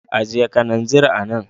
Ajiye kananzir a nan.